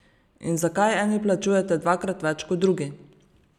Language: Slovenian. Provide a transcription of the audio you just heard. In zakaj eni plačujete dvakrat več kot drugi?